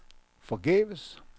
forgæves